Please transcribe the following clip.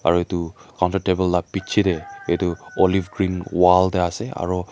aro etu countertaple la bichi dae etu olive green wall dae asae aroo.